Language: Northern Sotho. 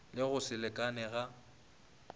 le go se lekalekane ga